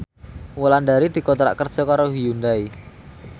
Wulandari dikontrak kerja karo Hyundai